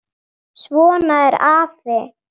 Svona er afi.